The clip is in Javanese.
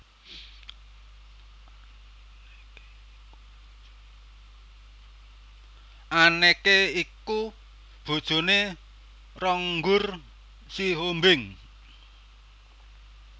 Anneke iku bojoné Ronggur Sihombing